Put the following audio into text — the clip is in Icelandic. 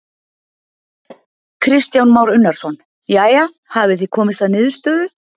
Kristján Már Unnarsson: Jæja, hafið þið komist að niðurstöðu?